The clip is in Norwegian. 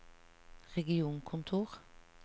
regionkontor